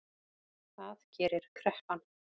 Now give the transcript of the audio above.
Það gerir kreppan